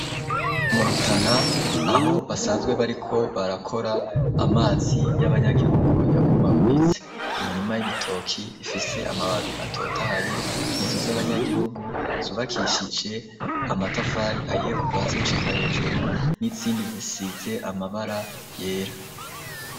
Mu Rutana aho basanzwe bariko barakora amazi y'abanyagihugu yabomaguritse. Imirima y'ibitoki ifise amababi atotaye inzu z'abanyagihugu zubakishije amatafari ahiye kuvazi gushika hejuru n'insindi zisitse amabara yera.